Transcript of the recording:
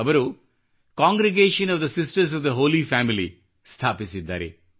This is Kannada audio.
ಅವರು congregation of the sisters of the holy family ಸ್ಥಾಪಿಸಿದ್ದಾರೆ